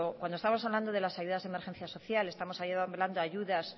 cuando estamos hablando de las ayudas de emergencia social estamos hablando ayudas